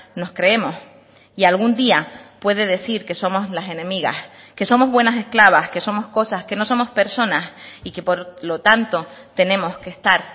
nos creemos y algún día puede decir que somos las enemigas que somos buenas esclavas que somos cosas que no somos personas y que por lo tanto tenemos que estar